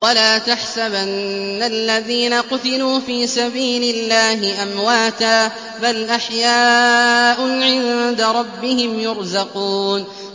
وَلَا تَحْسَبَنَّ الَّذِينَ قُتِلُوا فِي سَبِيلِ اللَّهِ أَمْوَاتًا ۚ بَلْ أَحْيَاءٌ عِندَ رَبِّهِمْ يُرْزَقُونَ